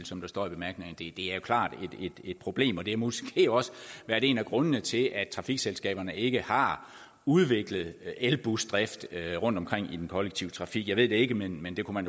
som der står i bemærkningerne det er jo klart et problem og det har måske også været en af grundene til at trafikselskaberne ikke har udviklet elbusdrift rundtomkring i den kollektive trafik jeg ved det ikke men det kunne